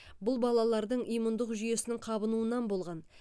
бұл балалардың иммундық жүйесінің қабынуынан болған